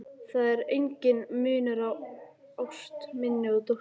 Það er enginn munur á ást minni og dóttur minnar.